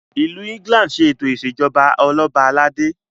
ilù England ṣe eto ìṣèjọba Ọlọba aládé